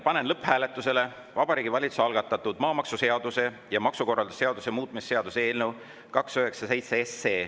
Panen lõpphääletusele Vabariigi Valitsuse algatatud maamaksuseaduse ja maksukorralduse seaduse muutmise seaduse eelnõu 297.